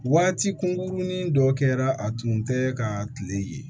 Waati kunkurunin dɔ kɛra a tun tɛ ka kile ye